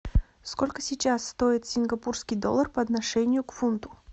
сколько сейчас стоит сингапурский доллар по отношению к фунту